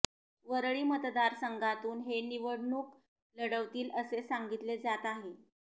वरळी मतदारसंघातून ते निवडणूक लढवतील असे सांगितले जात आहेत